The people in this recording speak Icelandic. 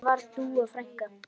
Hvernig var Dúa frænka?